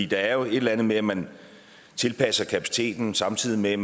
der er jo et eller andet med at man tilpasser kapaciteten samtidig med